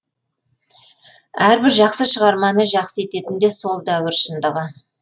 әрбір жақсы шығарманы жақсы ететін де сол дәуір шындығы